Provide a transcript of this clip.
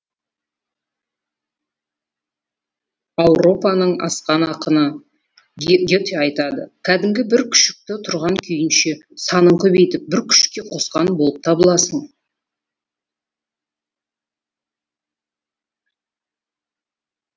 ауропаның асқан ақыны гете айтады кәдімгі бір күшікті тұрған күйінше санын көбейтіп бір күшікке қосқан болып табыласың